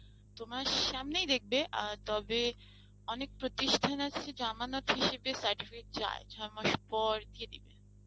তোমার সামনেই দেখবে আ তবে অনেক প্রতিষ্ঠান আছে জামানত হিসেবে certificate চায় ছ'মাস পর দিয়ে দিবে।